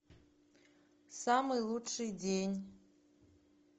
самый лучший день